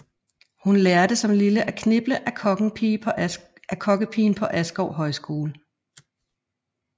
Hun lærte som lille at kniple af kokkepigen på Askov Højskole